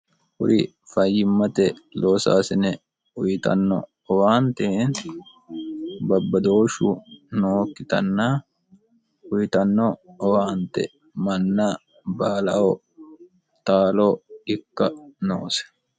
kuri fayyimmate loosaasine uyitanno owaante babbadooshshu nookkitanna uyitanno owaante manna baalaho taalo ikka noose